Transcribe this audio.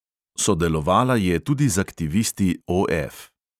Sodelovala je tudi z aktivisti OF.